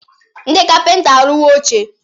Ndị kapịnta arụwo oche.